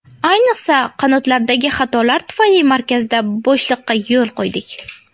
Ayniqsa, qanotlardagi xatolar tufayli markazda bo‘shliqqa yo‘l qo‘ydik.